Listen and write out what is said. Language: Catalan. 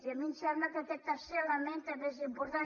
i a mi em sembla que aquest tercer element també és important